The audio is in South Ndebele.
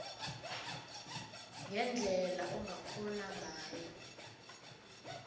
ngendlela ongakghona ngayo